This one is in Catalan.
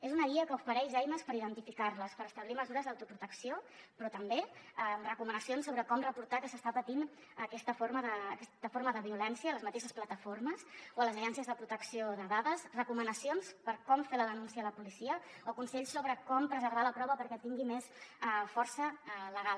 és una guia que ofereix eines per identificar les per establir mesures d’autoprotecció però també amb recomanacions sobre com reportar que s’està patint aquesta forma de violència a les mateixes plataformes o a les agències de protecció de dades recomanacions per com fer la denúncia a la policia o consells sobre com preservar la prova perquè tingui més força legal